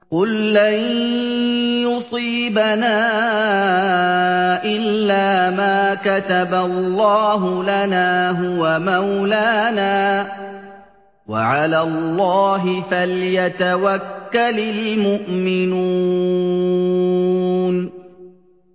قُل لَّن يُصِيبَنَا إِلَّا مَا كَتَبَ اللَّهُ لَنَا هُوَ مَوْلَانَا ۚ وَعَلَى اللَّهِ فَلْيَتَوَكَّلِ الْمُؤْمِنُونَ